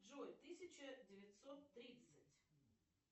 джой тысяча девятьсот тридцать